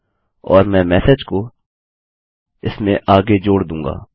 और मैं मेसेज को इसमें आगे जोड़ दूँगा